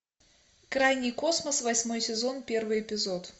крайний космос восьмой сезон первый эпизод